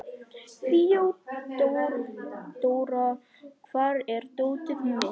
Þeódóra, hvar er dótið mitt?